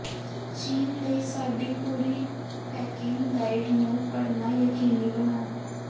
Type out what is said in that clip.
ਚੀਨ ਲਈ ਸਾਡੀ ਪੂਰੀ ਪੈਕਿੰਗ ਗਾਈਡ ਨੂੰ ਪੜ੍ਹਨਾ ਯਕੀਨੀ ਬਣਾਓ